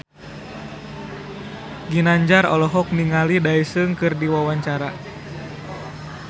Ginanjar olohok ningali Daesung keur diwawancara